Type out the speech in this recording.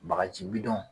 Bagaji bidɔn